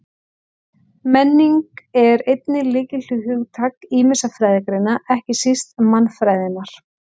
Menning er einnig lykilhugtak ýmissa fræðigreina, ekki síst mannfræðinnar.